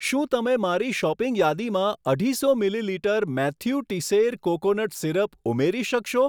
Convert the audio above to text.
શું તમે મારી શોપિંગ યાદીમાં અઢીસો millilitre Mathieu Teisseire coconut syrup ઉમેરી શકશો?